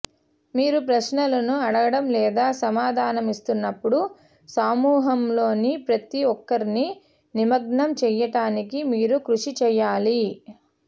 మీరు ప్రశ్నలను అడగడం లేదా సమాధానమిస్తున్నప్పుడు సమూహంలోని ప్రతి ఒక్కరిని నిమగ్నం చేయటానికి మీరు కృషి చేయాలి